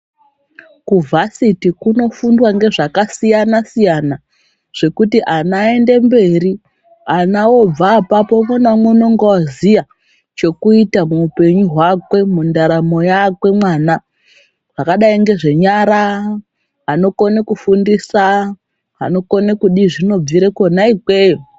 Kuvhasiti kunofundwa ngezvakasiyana siyana zvokuti ana aende mberi ana obva apapo umwe naumwe unonga woziya chokuita muupenyu hwakwe mundaramo yakwe mwana zvakadai ngezvenyara, anokone kufundisa, anokone kudii zvinobvira kona ikweyo.